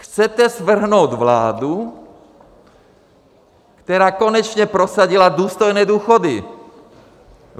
Chcete svrhnout vládu, která konečně prosadila důstojné důchody.